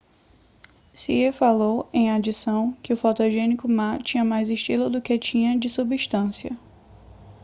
hsieh falou em adição que o fotogênico ma tinha mais estilo do que tinha de substância